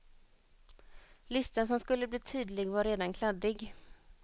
Listan som skulle bli tydlig var redan kladdig.